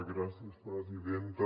gràcies presidenta